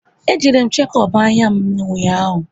E jere m shekop anya m ụnyaahụ